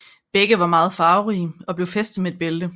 Begge var ofte farverige og blev fæstet med et bælte